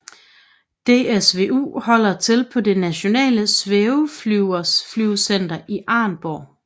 DSvU holder til på det Nationale Svæveflyvecenter Arnborg